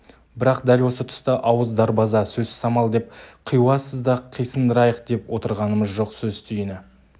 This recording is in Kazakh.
бірақ дәл осы тұста ауыз дарбаза сөз самал деп қиуасызды қисындырайық деп отырғанымыз жоқ сөз түйіні